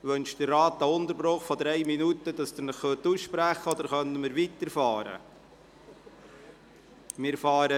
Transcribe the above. Wünscht der Rat einen Unterbruch von 3 Minuten, damit Sie sich aussprechen können, oder können wir die Beratungen fortsetzen?